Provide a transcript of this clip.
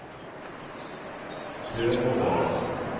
Sømådalen